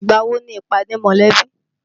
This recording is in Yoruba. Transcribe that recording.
Ìgbà wo ni ìpàdé mọ̀lẹ́bí?